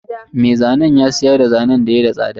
Me zanen ya siyarda zanen da yayi da tsada.